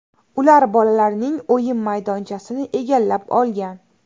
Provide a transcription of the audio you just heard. Ular bolalarning o‘yin maydonchasini egallab olgan.